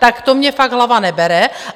Tak to mně fakt hlava nebere.